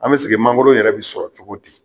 An bɛ segi mangoro yɛrɛ bɛ sɔrɔ cogo di?